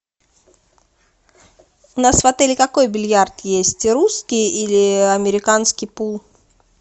у нас в отеле какой бильярд есть русский или американский пул